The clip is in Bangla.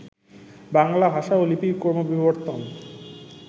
বাংলা ভাষা ও লিপির ক্রমবিবর্তন